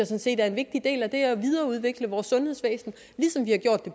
set er en vigtig del af det at udvikle vores sundhedsvæsen